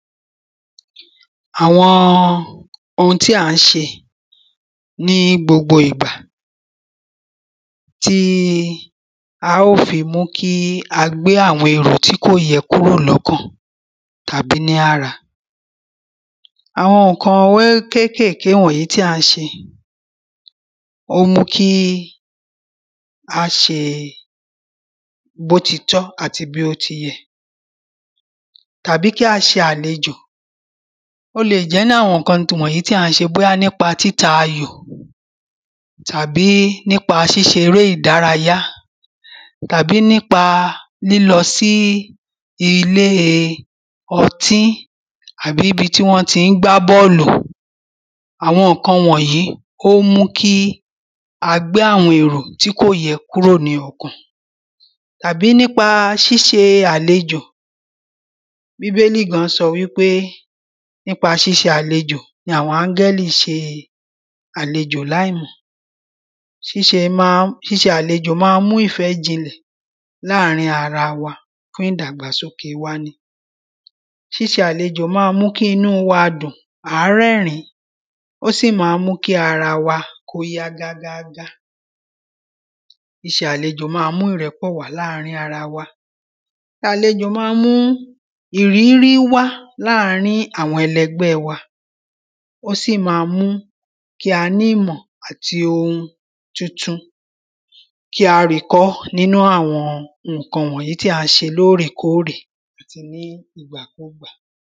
Àwọn ohun tí à ń ṣe ní gbogbo ìgbà tí á o fi mú kí a tí kò yẹ kúrò lọ́kàn tàbí ní ara. Àwọn nǹkan wẹ́ kékèké tí à ń ṣe ó ń mú kí á ṣe bó ti tọ́ àti bí ó ti yẹ tàbí kí a ṣe àlejò. Ó le jẹ́ nínú àwọn nǹkan wọ̀nyí tí à ń ṣe bóyá nípa títa ayò tàbí nípa ṣíṣe eré ìdárayá tàbí nípa lílọ sí ilé ọtí àbí ibi tí wọ́n tí ń gbá bọ́ọ̀lù. Àwọn nǹkan wọ̀nyí ó ń mú kí á gbá àwọn èrò tí kò yẹ kúrò ní ọkàn tàbí nípa ṣíṣe àlejò bíbélì gan sọ wípé nípa ṣíṣe àlejò ni àwọn ángẹ́lì ṣe àlejò láì mọ̀. Ṣíṣe má ń ṣíṣe àlejò má ń mú ìfẹ́ jinlẹ̀ láàrin ara wa fún ìdàgbàsókè ara wa ni. Ṣíṣe àlejò má ń mú kí inú wa dùn à á rẹ́rìn ó sì má ń mú kí ara wa kó yá gágá gá. Ṣíṣe àlejò má ń mú ìrẹ́pọ̀ wá láàrin ara wa. Ṣíṣe àlejò má ń mú ìrírí wá láàrin àwọn ẹlẹgbẹ́ wa ó sì má ń mú kí a ní ìmọ̀ àti ohun titun kí á rí kọ́ nínú àwọn nǹkan wọ̀nyí tí a ṣe lórèkórè àti ní ìgbà kúgbà.